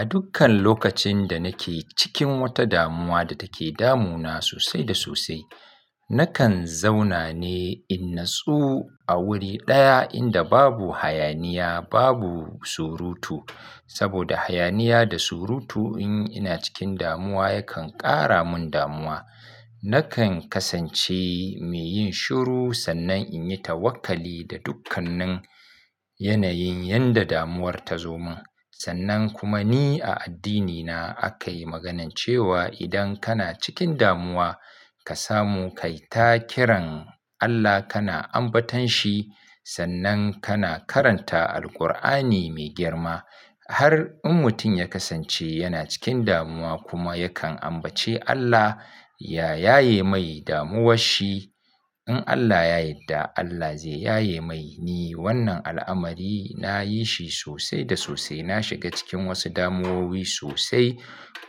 A dukkan lokacin da nake cikin wata damuwa da take damuna sosai da sosai, nakan zauna ne in natsu a wuri ɗaya inda babu hayaniya, babu surutu. Saboda hayaniya da surutu in ina cikin damuwa yakan ƙara mun damuwa. Nakan kasance mai yin shiru sannan in yi tawakkali da dukkannin yanayin yanda damuwar ta zo mun. Sannan kuma ni a addinina aka yi maganan cewa idan kana cikin damuwa ka samu kai ta kiran Allah kana ambaton shi sannan kana karanta Alqur'ani mai girma. Har in mutum ya kasance yana cikin damuwa kuma yakan ambaci Allah ya yaye mai damuwar shi. In Allah ya yarda Allah zai yaye mai ne. Wannan al'amari na yi shi sosai da sosai. Na shiga cikin wasu damuwowi sosai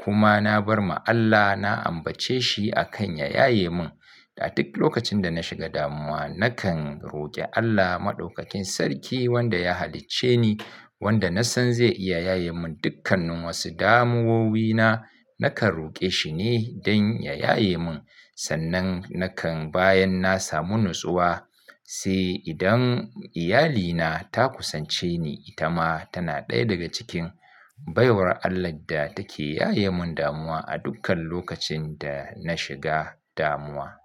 kuma na bar ma Allah na ambace shi akan ya yaye mun. A duk lokacin da na shiga damuwa nakan roƙi Allah Maɗaukakin Sarki wanda ya halicce ni wanda na san zai iya yaye mun dukkanin wasu damuwowina. Nakan roƙe shi ne don ya yaye mun sannan nakan bayan na samu natsuwa. Sai idan iyalina ta kusance ni ita ma tana ɗaya daga cikin baiwar Allah da take yaye mun damuwa a dukkan lokacin da na shiga damuwa.